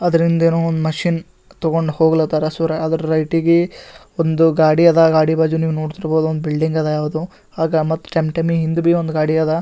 ಅದರಿಂದ ಏನೋ ಒಂದ್ ಮಷೀನ್ ತಗೊಂಡ್ ಹೋಗ್ಲಹತ್ತರ ಸೊ ಅದರ ರೈಟ್ ಗೆ ಒಂದು ಗಾಡಿ ಅದ ಗಾಡಿ ಬಾಜು ನೀವು ನೋಡ್ತಿರಬಹುದು ಒಂದು ಬಿಲ್ಡಿಂಗ್ ಅದ. ಯಾವುದೊ ಹಿಂದ್ ಒಂದ್ ಗಾಡಿ ಅದ.